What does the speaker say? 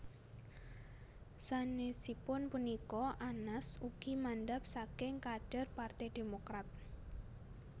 Sanesipun punika Anas ugi mandhap saking kadher Parte Demokrat